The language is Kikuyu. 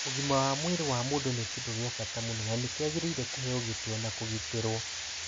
Ũgima wa mwĩrĩ wa mũndũ nĩ kĩndũ kĩa bata mũno na nĩ kĩagĩrĩire kũheo gĩtĩo na kũgitĩrũo.